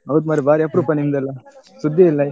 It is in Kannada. ಹೌದು ಮರ್ರೆ ಬಾರಿ ಅಪ್ರೂಪ ನಿಮ್ದೇಲ್ಲಾ, ಸುದ್ದಿಯೇ ಇಲ್ಲ?